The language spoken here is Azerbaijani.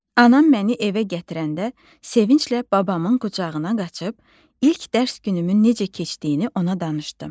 Anam məni evə gətirəndə sevinclə babamın qucağına qaçıb ilk dərs günümün necə keçdiyini ona danışdım.